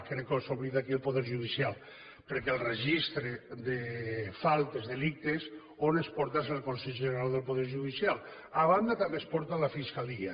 crec que s’oblida aquí el poder judicial perquè el registre de faltes delictes on es porta és al consell general del poder judicial a banda també es porta a la fiscalia